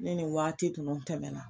Ni nin waati tunu tɛmɛna